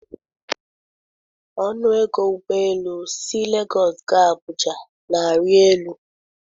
Ọnụ ego ụgbọ elu si Legọs gaa Abụja na-arị elu.